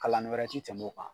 Kalani wɛrɛ tɛ tɛmɛ o kan.